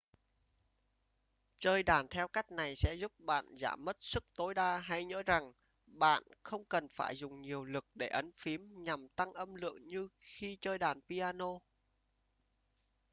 chơi đàn theo cách này sẽ giúp bạn giảm mất sức tối đa hãy nhớ rằng bạn không cần phải dùng nhiều lực để ấn phím nhằm tăng âm lượng như khi chơi đàn piano